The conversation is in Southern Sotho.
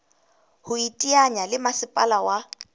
ho iteanya le masepala wa